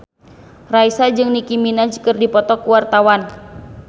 Raisa jeung Nicky Minaj keur dipoto ku wartawan